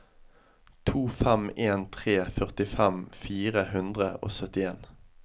to fem en tre førtifem fire hundre og syttien